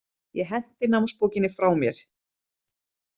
Ég henti námsbókinni frá mér.